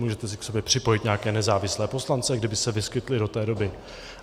Můžete si k sobě připojit nějaké nezávislé poslance, kdyby se vyskytli do té doby.